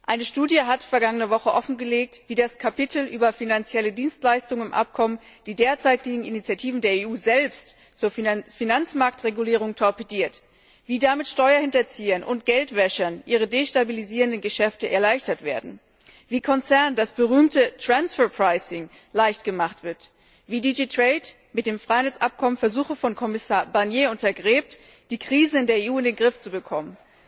Eine Studie hat vergangene Woche offengelegt, wie das Kapitel über finanzielle Dienstleistungen im Abkommen die derzeitigen Initiativen der EU selbst zur Finanzmarktregulierung torpediert, wie damit Steuerhinterziehern und Geldwäschern ihre destabilisierenden Geschäfte erleichtert werden, wie Konzernen das berühmte Transfer Pricing leicht gemacht wird, wie die GD TRADE mit dem Freihandelsabkommen Versuche von Kommissar Barnier untergräbt, die Krise in der EU in den Griff zu bekommen.